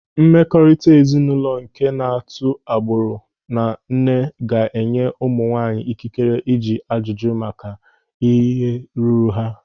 Mmekọrịta ezinụlọ nke na-atụ agbụrụ na nne ga-enye ụmụ nwaanyị ikikere ịjụ ajụjụ maka ihe ruru ha.